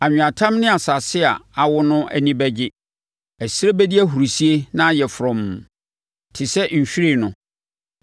Anweatam ne asase a awo no ani bɛgye; ɛserɛ bɛdi ahurisie na ayɛ frɔmm. Te sɛ nhwiren no,